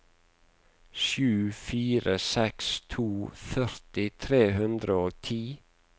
sju fire seks to førti tre hundre og ti